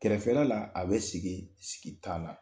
Kɛrɛfɛla la a bɛ sigi sigi t' la